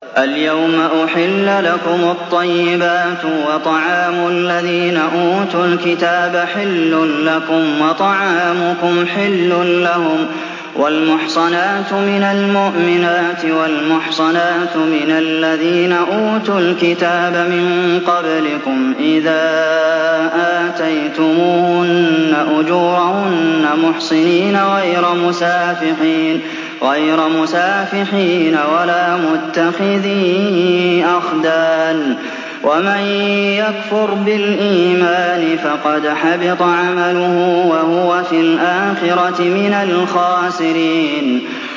الْيَوْمَ أُحِلَّ لَكُمُ الطَّيِّبَاتُ ۖ وَطَعَامُ الَّذِينَ أُوتُوا الْكِتَابَ حِلٌّ لَّكُمْ وَطَعَامُكُمْ حِلٌّ لَّهُمْ ۖ وَالْمُحْصَنَاتُ مِنَ الْمُؤْمِنَاتِ وَالْمُحْصَنَاتُ مِنَ الَّذِينَ أُوتُوا الْكِتَابَ مِن قَبْلِكُمْ إِذَا آتَيْتُمُوهُنَّ أُجُورَهُنَّ مُحْصِنِينَ غَيْرَ مُسَافِحِينَ وَلَا مُتَّخِذِي أَخْدَانٍ ۗ وَمَن يَكْفُرْ بِالْإِيمَانِ فَقَدْ حَبِطَ عَمَلُهُ وَهُوَ فِي الْآخِرَةِ مِنَ الْخَاسِرِينَ